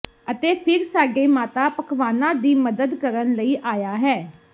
ਅਤੇ ਫਿਰ ਸਾਡੇ ਮਾਤਾ ਪਕਵਾਨਾ ਦੀ ਮਦਦ ਕਰਨ ਲਈ ਆਇਆ ਹੈ